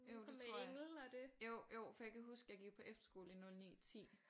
Jo det tror jeg jo jo for jeg kan huske jeg gik på efterskole i 09 10